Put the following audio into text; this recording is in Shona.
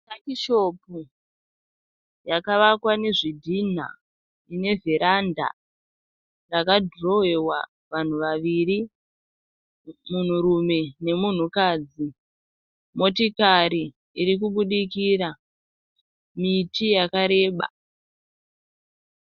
Takishopu rakavakwa nezvidhina nevheradha rakadhirowewa vanhu vaviri, munhurume nemunhukadzi , motokari irikubudikira, miti yakareba.